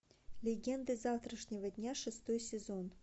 легенды завтрашнего дня шестой сезон